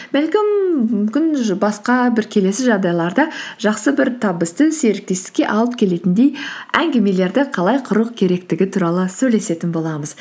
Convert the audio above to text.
бәлкім мүмкін басқа бір келесі жағдайларда жақсы бір табысты серіктестікке алып келетіндей әңгімелерді қалай құру керектігі туралы сөйлесетін боламыз